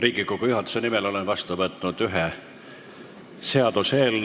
Riigikogu juhatuse nimel olen vastu võtnud ühe seaduseelnõu.